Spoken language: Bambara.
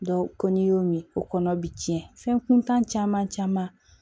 ko n'i y'o min o kɔnɔ bi tiɲɛ fɛn kuntan caman caman